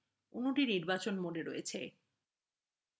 অণুটি নির্বাচন mode রয়েছে